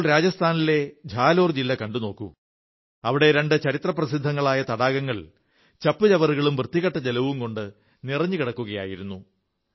ഇപ്പോൾ രാജസ്ഥാനിലെ ഝാലോർ ജില്ല കണ്ടുനോക്കൂ അവിടത്തെ രണ്ട് ചരിത്രപ്രസിദ്ധങ്ങളായ തടാകങ്ങൾ ചപ്പുചവറുകളും വൃത്തികെട്ട ജലവും കൊണ്ട് നിറഞ്ഞു കിടക്കുകയായിരുന്നു